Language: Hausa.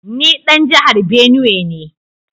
Ni dan jihar Benue ne